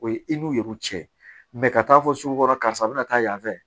O ye i n'u ka taa fɔ sugukɔrɔta yan fɛ